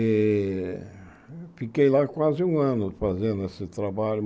Eh fiquei lá quase um ano fazendo esse trabalho.